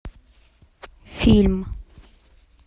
фильм